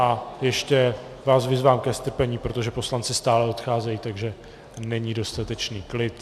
A ještě vás vyzývám ke strpení, protože poslanci stále odcházejí, takže není dostatečný klid.